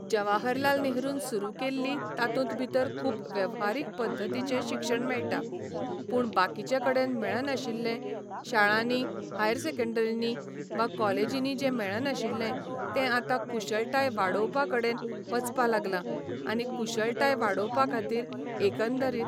जवाहरलाल नेहरून सुरू केल्ली तातूंत भितर खूब वेव्हारीक पद्दतीचें शिक्षण मेळटा पूण बाकिचें कडेन मेळनाशिल्लें शाळांनी हायर सॅकेंडरिंनी वा कॉलेजिनी जें मेळनाशिल्लें तें आता कुशळटाय वाडोवपा कडेन वचपा लागलां आनी कुशळटाय वाडोवपा खातीर एकंदरीत